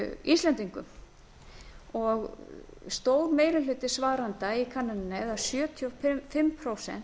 íslendingum stóri meiri hluti svarenda í könnuninni eða sjötíu og fimm prósent